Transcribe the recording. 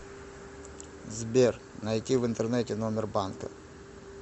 сбер найти в интернете номер банка